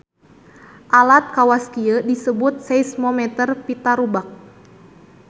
Alat kawas kieu disebut seismometer pita rubak.